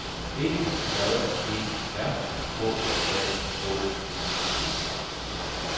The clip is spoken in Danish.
E J E R K A H Y T